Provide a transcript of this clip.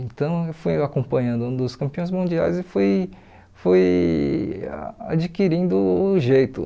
Então eu fui acompanhando um dos campeões mundiais e fui fui adquirindo o jeito.